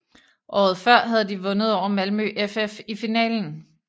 Årets før havde de vundet over Malmö FF i finalen